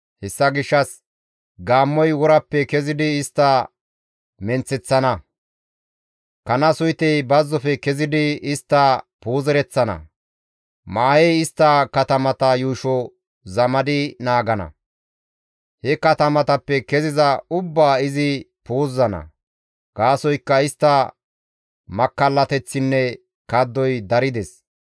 Hessa gishshas gaammoy worappe kezidi istta menththereththana; kana suytey bazzofe kezidi istta puuzereththana; Maahey istta katamata yuusho zamadi naagana. He katamatappe keziza ubbaa izi puuzana. Gaasoykka istta makkallateththinne kaddoy darides.